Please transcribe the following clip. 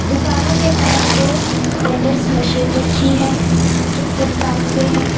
दुकानो के बाहर दो ट्रेडर्स मशीन रखी है जो फुटपाथ पे है।